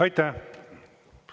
Aitäh!